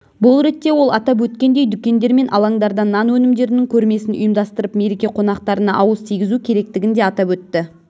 бұл ретте ол атап өткендей дүкендер мен алаңдарда нан өнімдерінің көрмесін ұйымдастырып мереке қонақтарына ауыз тигізу керектігін де атап өтті